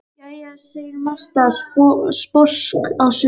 Jæja, segir Marta, sposk á svipinn.